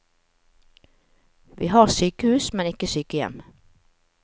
Vi har sykehus, men ikke sykehjem.